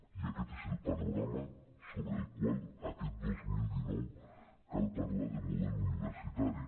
i aquest és el panorama sobre el qual aquest dos mil dinou cal parlar de model universi·tari